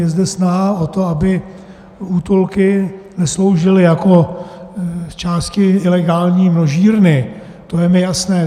Je zde snaha o to, aby útulky nesloužily jako zčásti ilegální množírny, to je mi jasné.